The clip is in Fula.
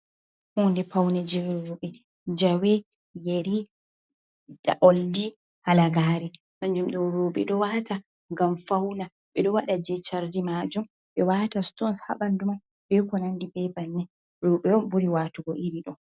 Huunde paune jirrube jawe yeri da oldi halagare danjum do ruɓe do wata gam fauna be do wada jechardi majun be wata stons habanduman bekonandi bebanne rubewon buri watugo iri do.